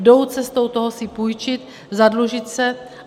Jdou cestou toho si půjčit, zadlužit se.